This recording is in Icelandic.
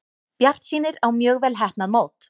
Bjartsýnir á mjög vel heppnað mót